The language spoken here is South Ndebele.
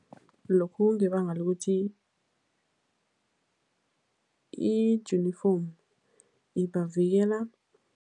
Lokhu kungebanga lokuthi ijunifomu ibavikela.